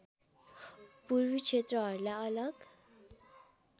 पूर्वी क्षेत्रहरूलाई अलग